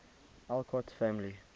alcott family